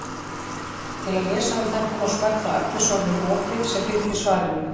Til að lesa um þetta má smella á efnisorðið ropi sem fylgir svarinu.